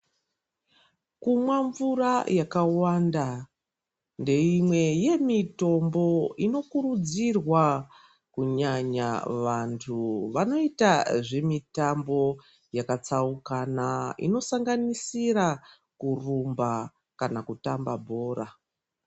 Kumwa mvura yakawanda ndeimwe yemitombo inokuridzirwa kunyanya vantu vanoita zvemitambo yakatsaukana inosanganisira kurumba kana kutamba bhora.